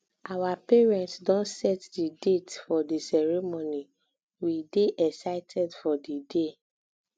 our parents don set the date for the ceremony um we dey excited for di day